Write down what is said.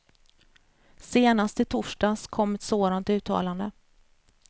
Senast i torsdags kom ett sådant uttalande.